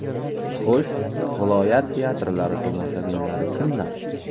Xo‘sh, viloyat teatrlari tomoshabinlari kimlar?